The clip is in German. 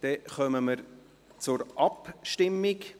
Dann kommen wir zur Abstimmung.